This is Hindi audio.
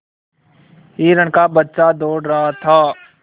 हिरण का बच्चा दौड़ रहा था